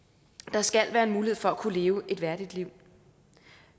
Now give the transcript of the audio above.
der skal være mulighed for at kunne leve et værdigt liv